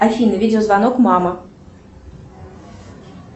афина видеозвонок мама